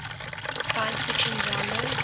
science fiction genres